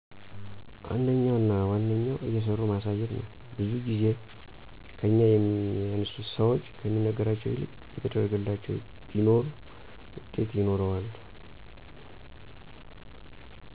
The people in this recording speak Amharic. አንደኛው እና ዋነኛው እየሠሩ ማሳየት ነዉ። ብዙ ጊዜ ከኛ የሚያንሱ ሠዎች ከሚነገራቸው ይልቅ እየተደረገላቸው ቢማሩ ውጤት ይኖረዋል።